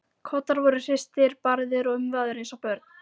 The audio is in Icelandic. Koddar voru hristir, barðir og umvafðir eins og börn.